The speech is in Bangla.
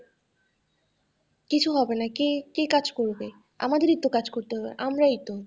কিছু হবেনা কে, কে কাজ করবে আমাদের ই তো কাজ করতে হবে আমারই তো,